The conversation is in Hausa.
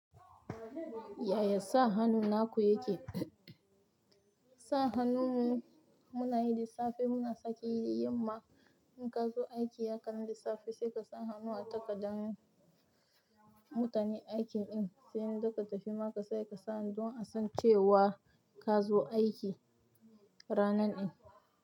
Yaya sa hannu na ku yake? Sa hannun mu muna yi da safe muna sake iya yi yamma in ka zo aiki ya kamu da safe sai ka sa hannu a takarda mutani aikin in, sai in za ka tafi ma ka sake hannu dun a san cewa ka zo aiki ranan in.